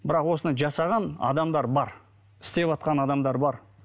бірақ осыны жасаған адамдар бар істеватқан адамдар бар